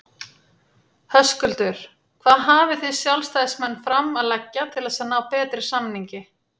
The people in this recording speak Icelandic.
Höskuldur: Hvað hafið þið sjálfstæðismenn fram að leggja til þess að ná betri samningi?